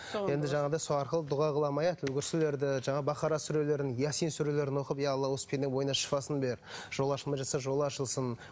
енді жаңағыдай сол арқылы дұға қыламын аят аль курсилерді жаңағы бакара сүрелерін ясин сүрелерін оқып иә алла осы пенденің бойына шифасын бер жолы ашылмай жатса жолы ашылсын